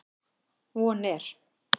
Von er